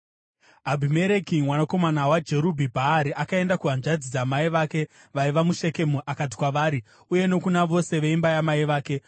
Abhimereki mwanakomana waJerubhi-Bhaari akaenda kuhanzvadzi dzamai vake vaiva muShekemu akati kwavari uye nokuna vose veimba yamai vake,